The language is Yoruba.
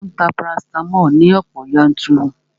Mò ń ta parasitamoli ní ọ̀pọ̀ yanturu